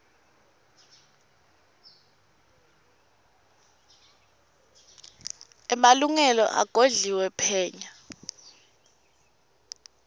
emalungelo agodliwe phenya